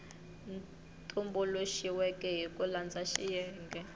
tumbuluxiweke hi ku landza xiyenge